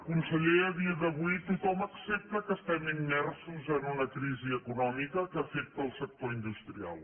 conseller a dia d’avui tothom accepta que estem immersos en una crisi econòmica que afecta el sector industrial